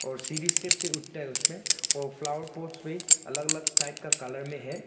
और सीढ़ी स्टेप्स उठता है उसमें और फ्लावर पॉट्स भी अलग अलग टाइप का कलर में है।